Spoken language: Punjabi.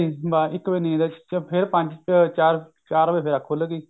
ਇੱਕ ਵਜੇ ਨੀਂਦ ਆਈ ਫੇਰ ਪੰਜ ਚਾਰ ਚਾਰ ਵਜੇ ਅੱਖ ਖੁੱਲ ਗਈ